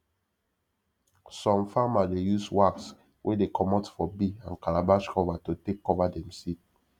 some farmer dey use wax wey dey comot for bee and calabash cover to take cover dem seed